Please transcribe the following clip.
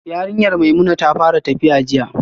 Yarinyar Maimuna ta fara tafiya jiya